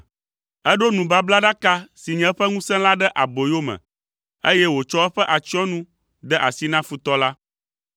Eɖo nubablaɖaka si nye eƒe ŋusẽ la ɖe aboyome, eye wòtsɔ eƒe atsyɔ̃nu de asi na futɔ la.